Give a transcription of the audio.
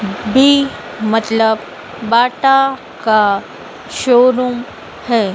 B मतलब Bata का showroom है।